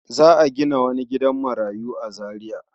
Za a gina wani gidan marayu a Zariya.